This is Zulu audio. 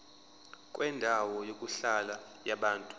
kwendawo yokuhlala yabantu